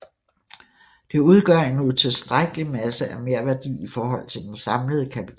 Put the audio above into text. Det udgør en utilstrækkelig masse af merværdi i forhold til den samlede kapital